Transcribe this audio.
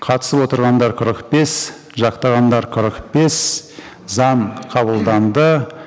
қатысып отырғандар қырық бес жақтағандар қырық бес заң қабылданды